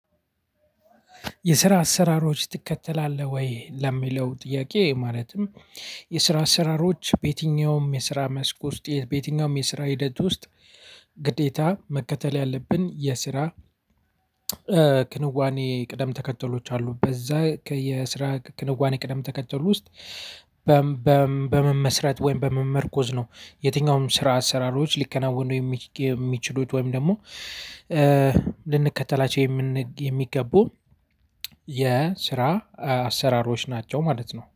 የስራ አሰራሮች ትከተላለህ ወይ ለሚለው ጥያቄ ማለትም? የስራ አሰራሮች በየትኛውም የስራ መስክ ውስጥ በየትኛውም የስራ ሂደት ውስጥ ግዴታ መከተል ያለብን የስራ ክንዋኔ ቅደም ተከተሎች አሉ በዛ ከየስራ ክንዋኔ ቅደም ተከተል ውስጥ። በመመስረት ወይም በመመርኮዝ ነው የትኛውም ስራ አሰራሮች ሊከናወኑ የሚ የሚችሉት ወይም ደግሞ ልንከተላቸው የሚገቡ የስራ አሰራሮች ናቸው። ማለት ነው